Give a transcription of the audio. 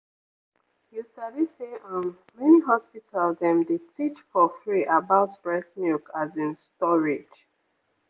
you sabi say um many hospital dem dey teach for free about breast milk as in storage.